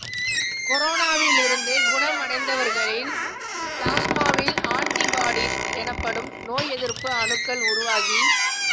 கொரோனாவிலிருந்து குணமடைந்தவர்களின் பிளாஸ்மாவில் ஆன்டிபாடிஸ் எனப்படும் நோய் எதிர்ப்பு அணுக்கள் உருவாகி